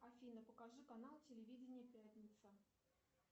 афина покажи канал телевидение пятница